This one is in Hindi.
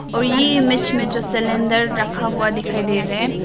और ये इमेज में जो सिलेंडर रखा हुआ दिखाई दे रहा है।